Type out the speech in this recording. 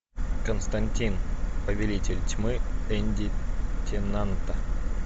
константин повелитель тьмы энди тенанта